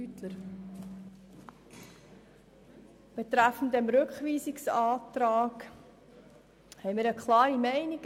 Betreffend diesen Rückweisungsantrag hat die EVP-Fraktion eine klare Meinung.